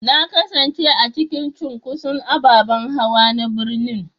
Na kasance a cikin cunkoson ababen hawa na birnin